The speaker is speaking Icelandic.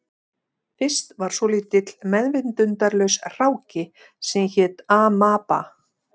Fyrst var svolítill meðvitundarlaus hráki sem hét amaba